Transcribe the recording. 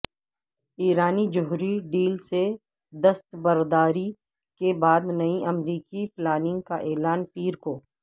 ایرانی جوہری ڈیل سے دستبرداری کے بعد نئی امریکی پلاننگ کا اعلان پیر کو